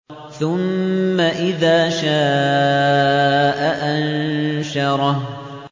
ثُمَّ إِذَا شَاءَ أَنشَرَهُ